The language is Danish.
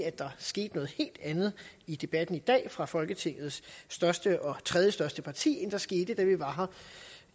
sket noget helt andet i debatten i dag fra folketingets største og tredjestørste parti end der skete da vi var her